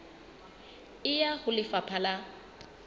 e ya ho lefapha la